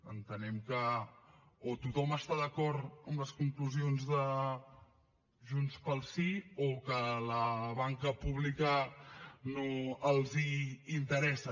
entenem que o tothom està d’acord amb les conclusions de junts pel sí o que la banca pública no els interessa